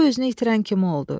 O özünü itirən kimi oldu.